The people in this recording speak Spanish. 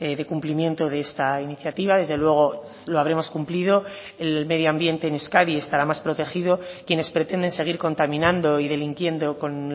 de cumplimiento de esta iniciativa desde luego lo habremos cumplido el medio ambiente en euskadi estará más protegido quienes pretenden seguir contaminando y delinquiendo con